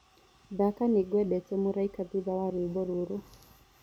thaka nĩngwendete mũraĩka thũtha wa rwĩmbo rũrũ